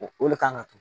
O de kan ka to